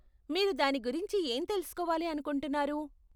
మీరు దాని గురించి ఏం తెలుసుకోవాలి అనుకుంటున్నారు?